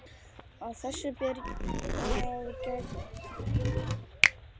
Að þessu ber að gæta.